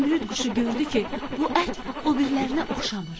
Zümrüd quşu gördü ki, bu ət o birilərinə oxşamır.